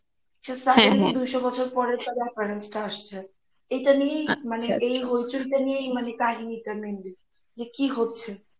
দুইশোবছর আসছে এটা নিয়েই মানে এই Hoichoi টা নিয়েই মানে এই কাহিনীটা mainly যে কি হচ্ছে